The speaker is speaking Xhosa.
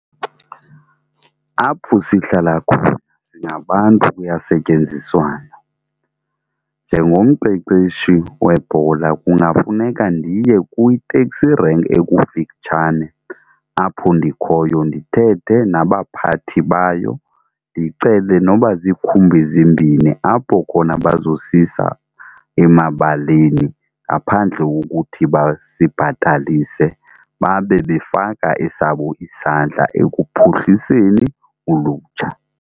Apho sihlala khona singabantu, kuyasetyenziswana. Njengomqeqeshi webhola kungafuneka ndiye kwiteksi renki ekufitshane apho ndikhoyo ndithethe nabaphathi bayo ndicele noba zikhumbi zimbini apho khona bazosisa emabaleni ngaphandle kokuthi basibhatalise, babe befaka esabo isandla ekuphuhliseni ulutsha.